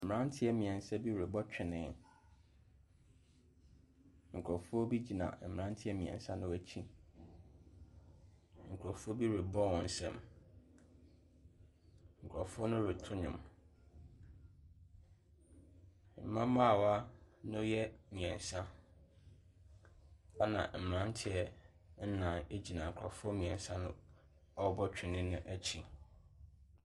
Mmeranteɛ mmeɛnsa bi rebɔ twene. Nkurɔfoɔ bi gyina mmeranteɛ mmeɛnso no wɔn akyi. Nkurɔfoɔ bi rebɔ wɔn nsam. Nkurɔfoɔ no reto nnwom. Mmabaawa no yɛ mmeɛnsa, ɛnna mmeranteɛ nnan gyina nkurɔfoɔ mmeɛnsa no ɔrebɔ twene no akyi.